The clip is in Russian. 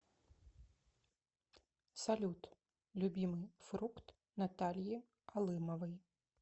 салют любимый фрукт натальи алымовой